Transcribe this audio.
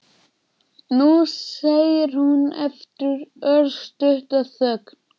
Nú, segir hún eftir örstutta þögn.